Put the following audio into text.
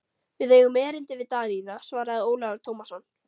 Við eigum erindi við Danina, svaraði Ólafur Tómasson.